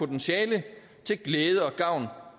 kan sige at vi her